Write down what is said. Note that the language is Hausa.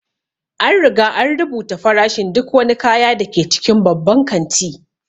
An riga an rubuta farashin duk wani kaya da ke cikin babban kanti